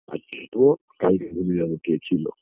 আজকে কালকে ভুলে যাবে কে ছিলো